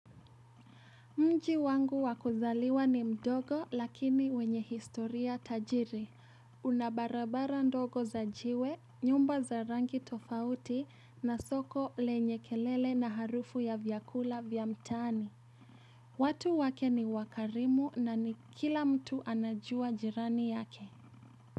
Mji wangu wa kuzaliwa ni mdogo lakini wenye historia tajiri, una barabara ndogo za jiwe, nyumba za rangi tofauti na soko lenye kelele na harufu ya vyakula vya mtaani. Watu wake ni wakarimu na ni kila mtu anajua jirani yake.